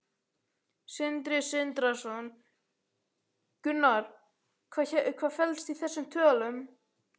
Sindri Sindrason: Gunnar, hvað felst í þessum tölum?